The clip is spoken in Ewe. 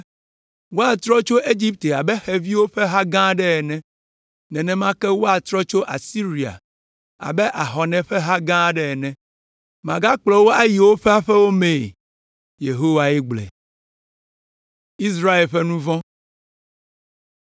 Woatrɔ tso Egipte abe xeviwo ƒe ha gã aɖe ene. Nenema ke woatrɔ tso Asiria abe ahɔnɛ ƒe ha gã aɖe ene. Magakplɔ wo ayi woƒe aƒewo mee.” Yehowae gblɔe.